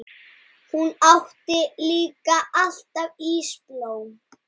Hún átti líka alltaf ísblóm.